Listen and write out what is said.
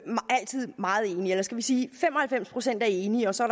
meget enige eller skal vi sige at fem og halvfems procent er enige og så